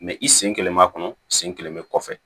i sen kelen b'a kɔnɔ sen sen kelen bɛ kɔfɛ